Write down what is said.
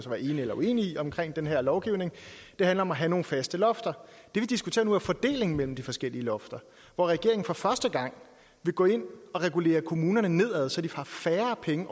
være enig eller uenig i omkring den her lovgivning handler om at have nogle faste lofter det vi diskuterer nu er fordelingen mellem de forskellige lofter hvor regeringen for første gang vil gå ind og regulere kommunerne ned så de har færre penge